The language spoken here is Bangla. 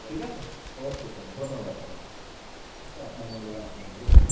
ঠিক আছে? okay sir ধন্যবাদ sir okay আপনার মূল্যবান টি সময় দেওয়ার জন্য